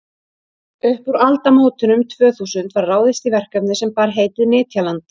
upp úr aldamótunum tvö þúsund var ráðist í verkefni sem bar heitið nytjaland